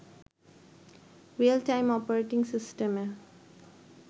real time operating সিস্টেমে